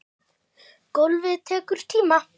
Golfið tekur tíma.